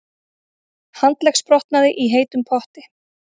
Handleggsbrotnaði í heitum potti